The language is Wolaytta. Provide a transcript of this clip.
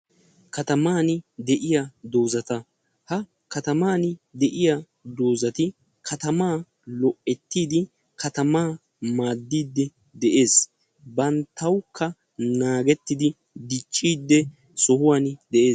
Katamaani de'iya dozataka Katamaani de'iya dozati katama go'etidi katamaani maadiidi de'ees. bantawukka naagetidi dicciid de'ees.